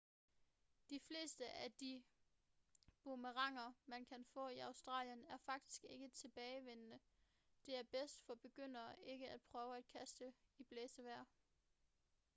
de fleste af de boomeranger man kan få i australien er faktisk ikke-tilbagevendende det er bedst for begyndere ikke at prøve at kaste i blæsevejr